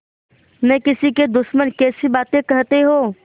न किसी के दुश्मन कैसी बात कहते हो